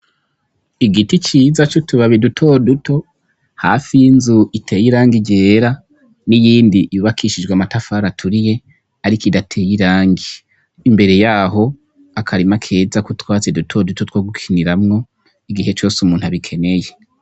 Igiti ciza c'utubabi dutoduto, hasi y'inzu iteye irangi ryera n'iyindi yubakishijwe amatafari aturiye ariko idateye irangi. Imbere y'aho, akarima keza k'utwatsi dutoduto two gukiniramwo igihe cose umuntu abikeneye.